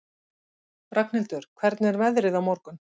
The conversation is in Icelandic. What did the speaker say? Ragnhildur, hvernig er veðrið á morgun?